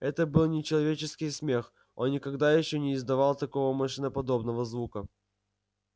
это был нечеловеческий смех он никогда ещё не издавал такого машиноподобного звука